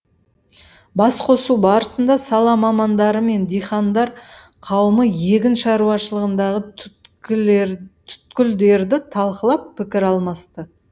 басқосу барысында сала мамандары мен диқандар қауымы егін шаруашылығындағы түйткілдерді талқылап пікір алмасты